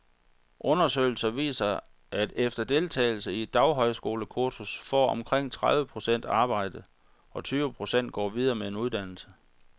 Undersøgelser viser, at efter deltagelse i et daghøjskolekursus får omkring tredive procent arbejde, og tyve procent går videre med en uddannelse.